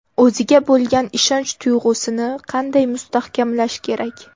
O‘ziga bo‘lgan ishonch tuyg‘usini qanday mustahkamlash kerak?